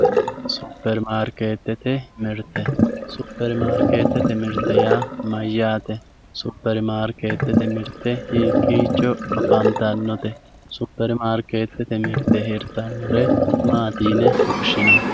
supperimaarkeetete mirte supperimaarkeetete mirte yaa mayaate supperimaarkeetete mirte hikiicho afantannote supperimaarkeetete mirtehirtannore maati yine woshshinanni